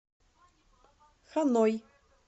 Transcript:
ханой